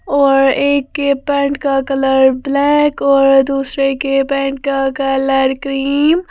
और एक के पैंट का कलर ब्लैक और दूसरे के पेंट का कलर क्रीम --